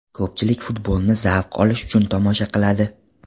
Ko‘pchilik futbolni zavq olish uchun tomosha qiladi.